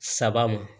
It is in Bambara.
Saba ma